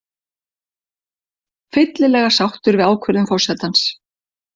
Fyllilega sáttur við ákvörðun forsetans